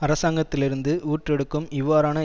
அரசாங்கத்திலிருந்து ஊற்றெடுக்கும் இவ்வாறான